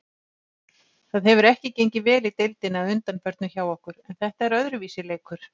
Það hefur ekki gengið vel í deildinni að undanförnu hjá okkur.en þetta er öðruvísi leikur.